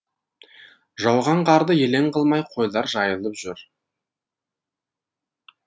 жауған қарды елең қылмай қойлар жайылып жүр